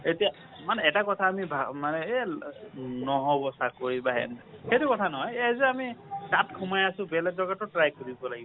এতিয়া এটা কথা আমি ভা মানে এই ল নহব চাকৰি বা হেন । সেইটো কথা নহয় এই যে আমি তাত সোমাই আছোঁ বেলেগ জাগাটো try কৰিব লাগিব।